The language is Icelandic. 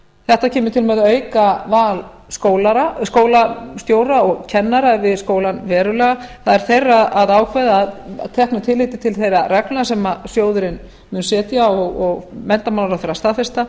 þetta kemur til með að auka val skólastjóra og kennara við skólann verulega það er þeirra að ákveða að teknu tilliti til þeirra reglna sem sjóðurinn mun setja og menntamálaráðherra staðfesta